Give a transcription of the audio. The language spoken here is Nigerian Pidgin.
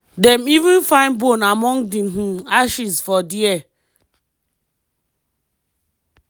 dem even find bone among di um ashes for dia.